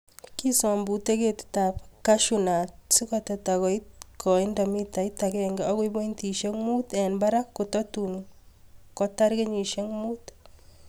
Kisombute ketitab cashew nut sikoteta koit koindap mitait akenke akoi pointisiek mut en barak kototun kotar kenyisiek mut.